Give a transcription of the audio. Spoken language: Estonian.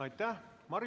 Aitäh!